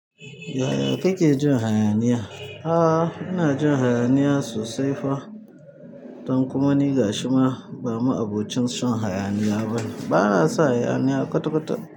Yaya kake jin hayaniya? A'a, ina jin hayaniya sosai fa. Don kuma ni ga shima ba mu abocin shan hayaniya ba ne. Ba na son hayaniya kwatakwata.